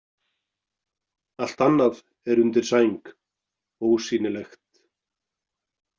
Allt annað er undir sæng, ósýnilegt.